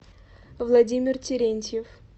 владимир терентьев